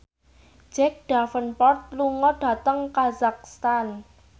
Jack Davenport lunga dhateng kazakhstan